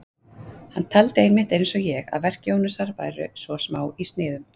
Hann taldi einmitt, eins og ég, að verk Jónasar væru svo smá í sniðum.